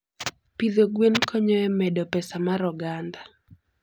Pidho gwen konyo e medo pesa mar oganda.